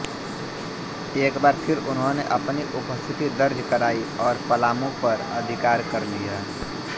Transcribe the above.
एक बार फिर उन्होंने अपनी उपस्थिति दर्ज कराई और पलामू पर अधिकार कर लिया